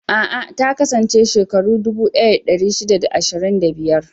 A'a, ta kasance shekaru dubu ɗaya da ɗari shida da ashirin da biyar.